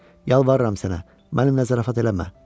Yalvarıram sənə, mənimlə zarafat eləmə.